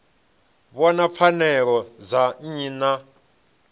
vhona pfanelo dza nnyi na